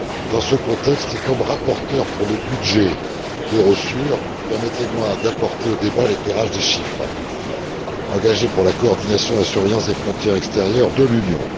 Dans ce contexte, et comme rapporteur pour le budget d'Eurosur, permettez moi d'apporter au débat l'éclairage des chiffres engagés pour la coordination et la surveillance des frontières extérieures de l'Union.